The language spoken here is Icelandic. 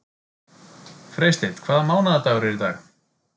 Freysteinn, hvaða mánaðardagur er í dag?